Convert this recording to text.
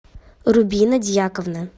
рубина дьяковна